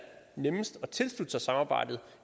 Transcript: nemmest at tilslutte sig samarbejdet